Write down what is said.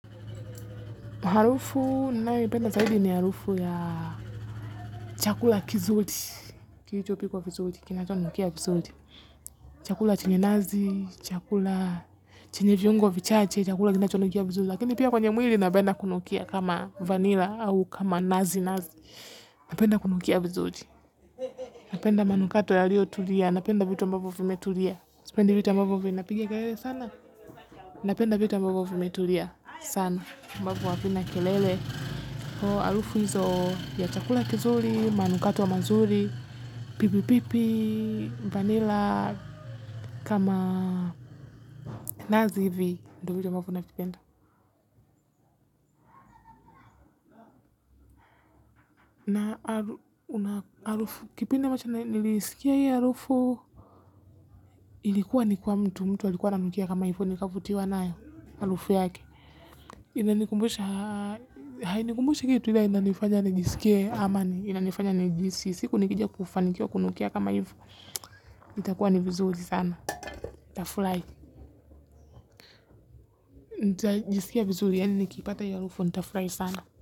Harufu ninayoipenda zaidi ni harufu ya chakula kizuri. Kilichopikwa vizuri kinachonukia vizuri. Chakula chenye nazi, chakula chenye viungo vichache, chakula kinachonukia vizuri. Lakini pia kwenye mwili napenda kunukia kama vanilla au kama nazi nazi. Napenda kunukia vizuri. Napenda manukato yaliyotulia napenda vitu ambavyo vimetulia. Sipendi vitu ambavo vinapiga kelele sana. Napenda vitu ambavo vimetulia sana. Ambavo havina kelele harufu hizo ya chakula kizuri. Manukato mazuri. Pipi pipi Vanilla. Kama nazi hivi ndo vitu ambavyo navipenda harufu. Kipindi ambacho na nilisikia hii harufu ilikuwa ni kwa mtu. Mtu alikuwa ananukia kama hivo. Nikavutiwa nayo harufu yake hainikumbushi kitu ila inanifanya nijiskieama inanifanya nijihisi. Siku nikija kufanikiwa kunukia kama hivo itakuwa ni vizuri sana. Nitaflai. Nitajiskia vizuri yaani nikipata hiyo harufu nitafrai sana.